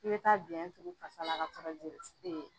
I be taa biɲɛn turu fasa la ka sɔrɔ